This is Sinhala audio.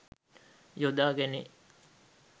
යොදා ගැනේ.